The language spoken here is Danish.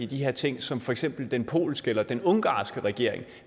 de her ting som for eksempel den polske eller den ungarske regering